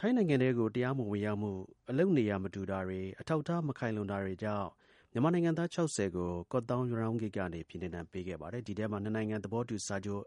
ထိုင်းနိုင်ငံထဲကို တရားမဝင် ဝင်ရောက်မူ အလုပ်နေရာ မတူတာတွေ အထောက်အထား မခိုင်လုံတွေကြောင့် မြန်မာနိုင်ငံသား ၆၀ကို ကော့သောင်း- ရနောင်းဂိတ်ကနေ ဇန်နဝါရီလ ၇ ရက်နေ့က ပြည်နှင်ဒဏ်ပေးခဲ့ပါတယ်။ ဒီထဲမှာနှစ်နိုင်ငံသဘောတူစာချုပ်